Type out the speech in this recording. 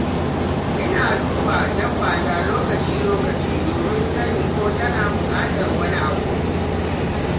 ina duba dabbata lokaci-lokaci domin sanin ko tana buƙatar wani abu.